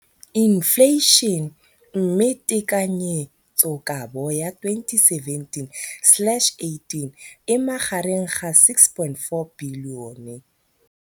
Infleišene, mme tekanyetsokabo ya 2017, 18, e magareng ga R6.4 bilione.